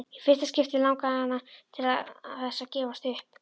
Í fyrsta skipti langaði hana til þess að gefast upp.